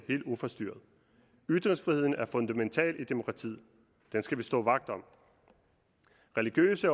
helt uforstyrret ytringsfriheden er fundamental i demokratiet den skal vi stå vagt om religiøse